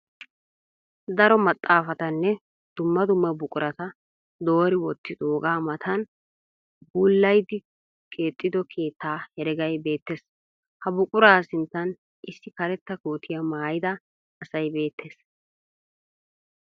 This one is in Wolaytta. Daro maxxafatanne dumma dumma buqurata doori wottiqoogaa mattan buulayidikeexxo keetta heregay beettes. Ha buquraa sinttan iss karetta kootiya maayida asay beettes.